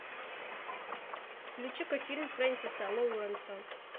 включи ка фильм фрэнсиса лоуренса